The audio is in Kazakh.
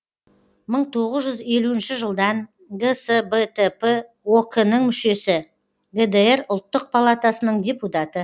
мың тоғыз жүз елуінші жылдан гсбтп ок нің мүшесі гдр ұлттық палатасының депутаты